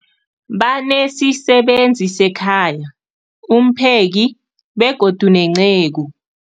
Banesisebenzi sekhaya, umpheki, begodu nenceku.